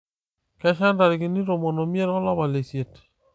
kesha ntarikini tomon oimiet olapa leisiet